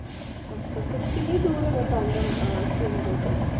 ਅੱਛਾ ਅੱਛਾ ਕਿੰਨੀ ਦੂਰ ਹੈਗਾ ਹੈ ਪਹਿਲਗਾਮ ਆਹ ਸ਼੍ਰੀ ਨਗਰ ਤੋਂ।